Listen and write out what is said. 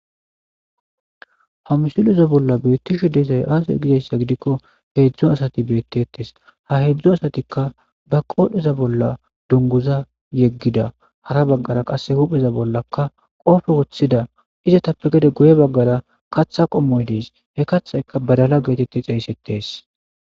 hamsuleza bolla beettisho deesay aasa gizassa gidikko heedzdzo asati beettettes ha heedzdzo asatikka ba qoohdheza bolla dunguza yeggida hara baggara qass hupheza bollakka qoofe woththida izatappe gede guye baggara katha qommoy dees he kathaykka badala geetette xeysetes